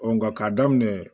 nka k'a daminɛ